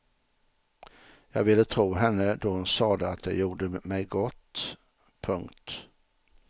Jag ville tro henne då hon sade att det gjorde mig gott. punkt